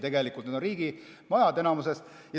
Need on enamikus riigimajad.